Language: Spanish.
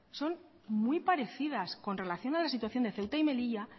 son muy parecidas con relación a la situación de ceuta y melilla